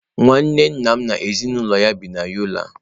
Nwanne nna m n'ezinụlọ ya bi na Yola.